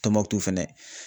Tɔnmɔkutu fɛnɛ.